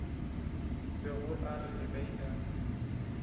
bego a re ge a